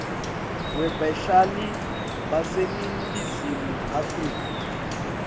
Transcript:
webahlali baseningizimu afrika